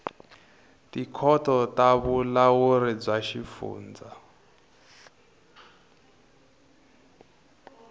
tikhoto ta vulawuri bya swifundza